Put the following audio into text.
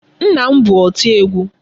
Nna m bụ oti egwu.